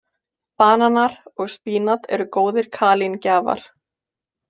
Bananar og spínat eru góðir kalíngjafar.